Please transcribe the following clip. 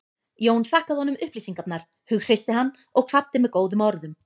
Jón þakkaði honum upplýsingarnar, hughreysti hann og kvaddi með góðum orðum.